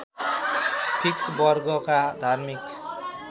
fix वर्गका धार्मिक